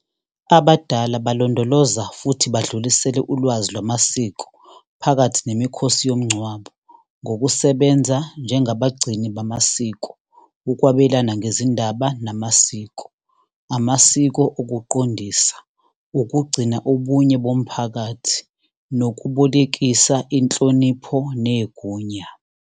Abadala balondoloza futhi badlulisele ulwazi lwamasiko phakathi nemikhosi yomngcwabo ngokusebenza njengabanini bamasiko, ukwabelana ngezindaba namasiko, amasiko okuqondisa, ukugcina ubunye bomphakathi, nokubolekisa inhlonipho negunya.